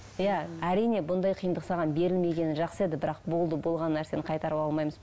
иә әрине мұндай қиындық саған берілмегені жақсы еді бірақ болды болған нәрсені қайтарып алмаймыз